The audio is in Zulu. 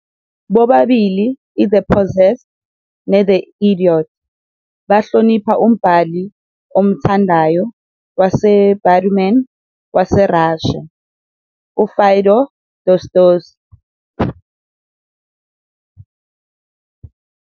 Bobabili "iThe Possessed" ne- "The Idiot" bahlonipha umbhali omthandayo waseBatuman waseRussia, uFyodor Dostoevsky.